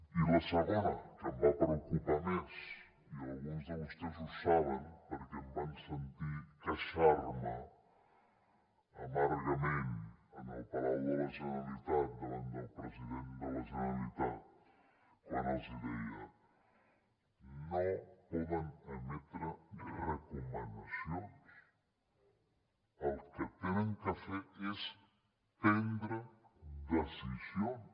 i la segona que em va preocupar més i alguns de vostès ho saben perquè em van sentir queixar me amargament al palau de la generalitat davant del president de la generalitat quan els deia no poden emetre recomanacions el que han de fer és prendre decisions